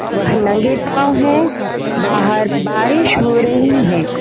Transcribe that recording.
वह नंगे पाव हैं बाहर बारिश हो रही है।